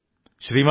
അശ്വനി എഴുതി